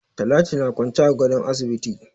Talatu na kwance a gadon asibiti.